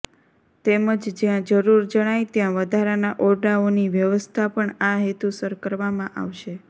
તેમજ જ્યાં જરૂર જણાય ત્યાં વધારાના ઓરડાઓની વ્યવસ્થા પણ આ હેતુસર કરવામાં આવશે